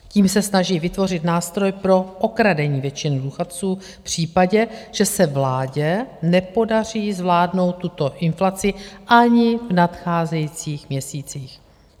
Tím se snaží vytvořit nástroj pro okradení většiny důchodců v případě, že se vládě nepodaří zvládnout tuto inflaci ani v nadcházejících měsících.